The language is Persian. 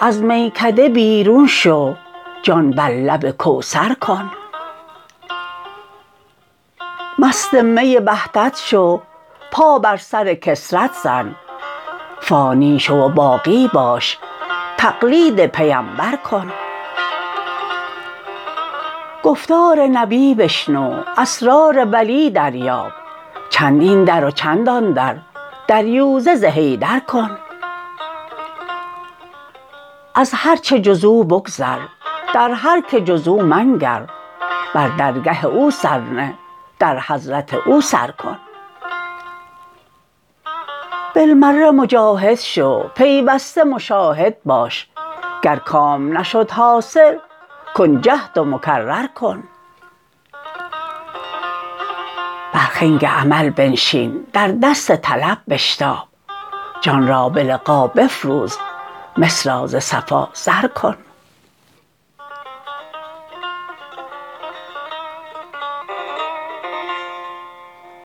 از میکده بیرون شو جان بر لب کوثر کن مست می وحدت شو پا بر سر کثرت زن فانی شو و باقی باش تقلید پیمبر کن گفتار نبی بشنو اسرار ولی دریاب چند این در و چند آن در دریوزه ز حیدر کن از هر چه جز او بگذر در هر که جز او منگر بر درگه او سر نه در حضرت او سر کن بالمره مجاهد شو پیوسته مشاهد باش گر کام نشد حاصل کن جهد و مکرر کن بر خنگ عمل بنشین در دست طلب بشتاب جان را به لقا بفروز مس را ز صفا زر کن